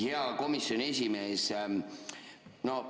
Hea komisjoni esimees!